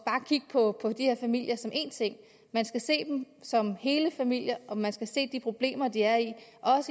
at kigge på de her familier som én ting man skal se dem som hele familier og man skal også se de problemer de er i i